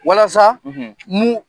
Walasa mun